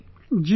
Ji